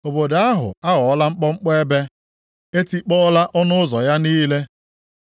Obodo ahụ aghọọla mkpọmkpọ ebe, e tikpọọla ọnụ ụzọ ya niile.